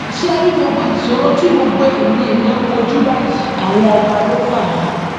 ṣé ẹ rí gbogbo ìṣòro tí gbogbo eyín èèyàn ń kojú báyìí àwọn ọba ló fà á